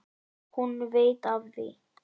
Og hún veit af því.